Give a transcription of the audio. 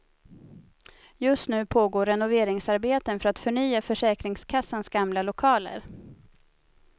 Just nu pågår renoveringsarbeten för att förnya försäkringskassans gamla lokaler.